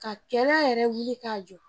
Ka kɛlɛ yɛrɛ wuli k'a jɔ